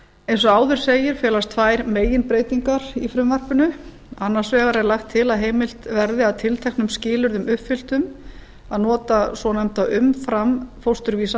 eins og áður segir felast tvær meginbreytingar í frumvarpinu annars vegar er lagt til að heimilt verði að tilteknum skilyrðum uppfylltum að nota svonefnda umframfósturvísa